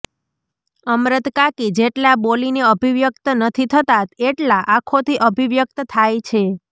અમરતકાકી જેટલા બોલીને અભિવ્યક્ત નથી થતાં એટલાં આંખોથી અભિવ્યક્ત થાય છે